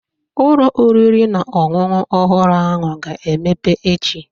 Ụlọ oriri na ọṅụṅụ ọhụrụ ahụ ga-emepe echi.